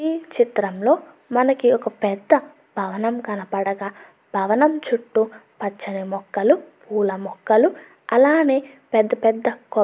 ఈ చిత్రం లో మనకి ఒక పెద్ద భవనం కనబడగా భవనం చుట్టూ పచ్చని మొక్కలు పూల మొక్కలు అలానే పెద్ద పెద్ద --